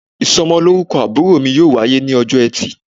isómolorúkó àbúrò mi yóò wayé ni òjó ètì